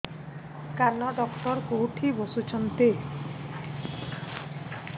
କାନ ଡକ୍ଟର କୋଉଠି ବସୁଛନ୍ତି